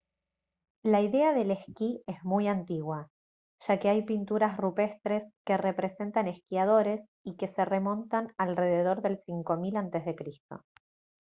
la idea del esquí es muy antigua ya que hay pinturas rupestres que representan esquiadores y que se remontan alrededor del 5.000 a.c